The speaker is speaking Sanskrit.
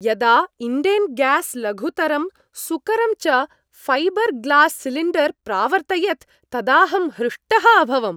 यदा इण्डेन् ग्यास् लघुतरं सुकरं च ऴैबर् ग्लास् सिलिण्डर् प्रावर्तयत् तदाहं हृष्टः अभवम्।